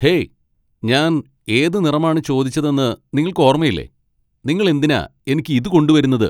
Hey, ഞാൻ ഏത് നിറമാണ് ചോദിച്ചതെന്ന് നിങ്ങള്ക്ക് ഓർമ്മയില്ലേ? നിങ്ങള് എന്തിനാ എനിക്ക് ഇത് കൊണ്ടുവരുന്നത്?